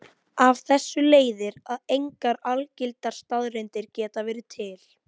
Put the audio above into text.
Það þýðir að bandbreiddin í netkerfinu er sameiginleg á milli allra véla.